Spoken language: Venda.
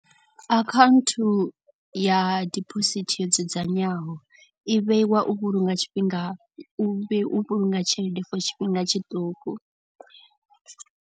Account ya dibosithi yo dzudzanywaho i vheiwa u vhulunga tshifhinga u vhe u vhulunga tshelede for tshifhinga tshiṱuku.